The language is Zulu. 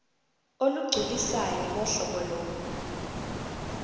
olugculisayo ngohlobo lo